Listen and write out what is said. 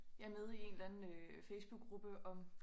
Jeg med i en eller anden øh facebookgruppe om